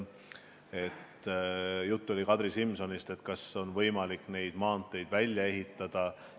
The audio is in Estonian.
Jutt oli Kadri Simsonist ja ta küsis, kas on võimalik neid maanteid välja ehitada.